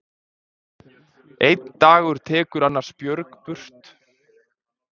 Einn dagur tekur annars björg burt.